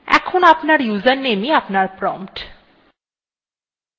এখন আপনার usernameis আপনার prompt